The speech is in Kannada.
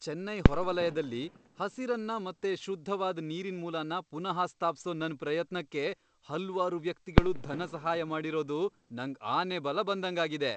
ಚೆನ್ನೈ ಹೊರವಲಯ್ದಲ್ಲಿ ಹಸಿರನ್ನ ಮತ್ತೆ ಶುದ್ಧವಾದ್ ನೀರಿನ್ಮೂಲನ ಪುನಃ ಸ್ಥಾಪ್ಸೋ ನನ್ ಪ್ರಯತ್ನಕ್ಕೆ ಹಲ್ವಾರು ವ್ಯಕ್ತಿಗಳು ಧನಸಹಾಯ ಮಾಡಿರೋದು ನಂಗ್ ಆನೆಬಲ ಬಂದಂಗಾಗಿದೆ.